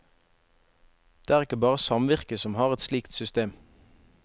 Det er ikke bare samvirket som har et slikt system.